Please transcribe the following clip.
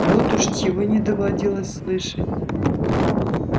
вот уж чего не доводилось слышать